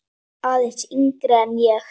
Aðeins yngri en ég.